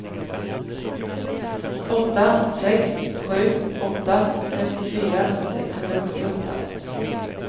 åtta sex sju åtta femtiofyra sexhundrasjuttioåtta